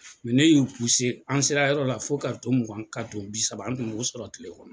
ne y'u'u an sera yɔrɔ la fo kartɔn mugan kartɔn bi saba an tun b'o sɔrɔ kile kɔnɔ.